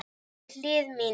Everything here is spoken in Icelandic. Við hlið mína.